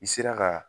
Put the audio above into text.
I sera ka